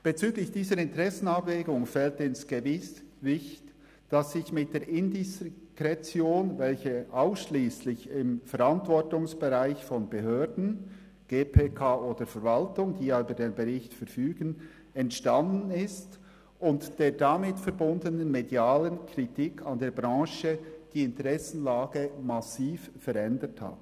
Bezüglich dieser Interessenabwägung fällt ins Gewicht, dass sich mit der Indiskretion, welche ausschliesslich im Verantwortungsbereich von Behörden – GPK oder Verwaltung –, die ja über den Bericht verfügen, entstanden ist und der damit verbundenen medialen Kritik an der Branche die Interessenlage massiv verändert hat.